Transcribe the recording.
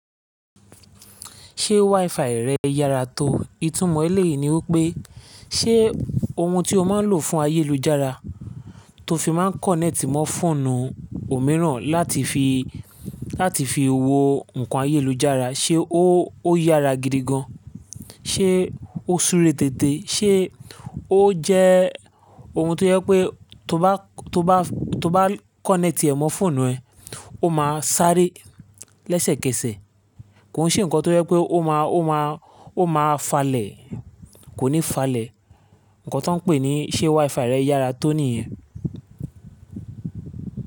Ṣé WiFi rẹ yára tó? Ìtúmọ̀ ẹ́ lè ni wípé, ṣe ohun tí o máa ń lò fún ayélujára, tó fi máa ń kọ́nẹ́ẹ̀tì mọ́ fóònù òmíràn láti fi, láti fi wo ǹkan ayélujára, ṣe ó, ó yára gidi gan an? Ṣé ó súre téte? Ṣé ó jẹ́ ohun tó jẹ́ pé tó bá, tó bá, tó bá kọ́nẹ́ẹ̀tì ẹ mọ́ fóònù ẹ, ó máa sárẹ́ lẹ́sẹ̀kẹsẹ̀? Kò sí ǹkan tó jẹ́ pé ó máa, ó máa, ó máa falẹ̀, kò ní falẹ̀. Ǹkan tó ń pè ní ṣé WiFi rẹ yára tó nìyẹn.